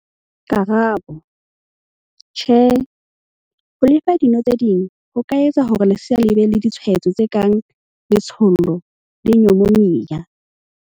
Karabo- Tjhe, ho le fa dino tse ding ho ka etsa hore lesea le be le ditshwaetso tse kang letshollo le nyomonia.